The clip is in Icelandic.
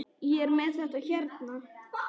Ég er með þetta hérna.